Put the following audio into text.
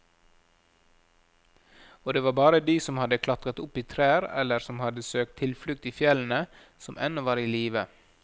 Og det var bare de som hadde klatret opp i trær eller som hadde søkt tilflukt i fjellene, som ennå var i live.